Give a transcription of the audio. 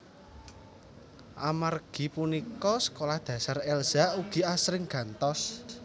Amargi punika sekolah dasar Elza ugi asring gantos